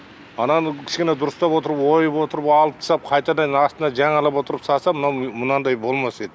ананы кішкене дұрыстап отырып ойып отырып алып тастап қайтадан астына жаңалап отырып салса мынау мынадай болмас еді